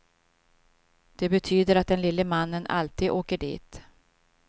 Det betyder att den lille mannen alltid åker dit.